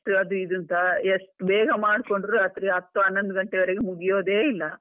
Test ಅದು ಇದು ಅಂತಎಷ್ಟ್ ಬೇಗ ಮಾಡ್ಕೊಂಡ್ರು ರಾತ್ರಿ ಹತ್ತ್ ಹನೊಂದು ಗಂಟೆವರಿಗೆ ಮುಗಿಯೋದೇ ಇಲ್ಲ.